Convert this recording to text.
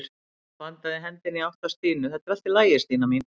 Hann bandaði hendinni í átt að Stínu: Þetta er allt í lagi Stína mín.